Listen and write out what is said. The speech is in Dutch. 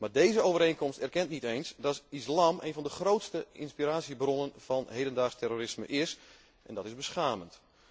Maar deze overeenkomst erkent niet eens dat de islam een van de grootste inspiratiebronnen van hedendaags terrorisme is en dat is beschamend.